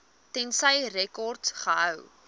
tensy rekords gehou